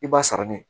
I b'a sara ne